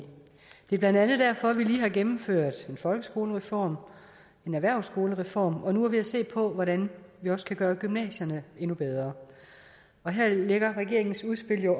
det er blandt andet derfor vi lige har gennemført en folkeskolereform og en erhvervsskolereform og nu er ved at se på hvordan vi også kan gøre gymnasierne endnu bedre og her lægger regeringens udspil jo